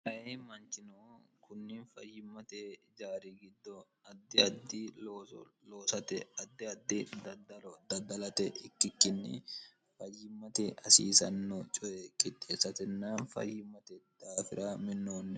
ai manchino kunni fayyimmate jaari giddo addi addi loosate addi addi daddaro daddalate ikkikkinni fayyimmate asiisanno coye kixxeessatenna fayyimmate daafira minnoonni